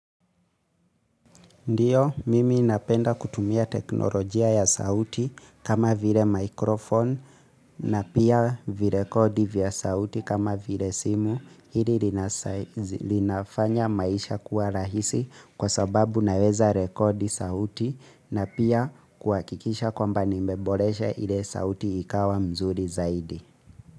Ndio, mimi napenda kutumia teknolojia ya sauti kama vile microphone na pia virekodi vya sauti kama vile simu. Hili linafanya maisha kuwa rahisi kwa sababu naweza rekodi sauti na pia kuhakikisha kwamba nimbeboresha ile sauti ikawa mzuri zaidi.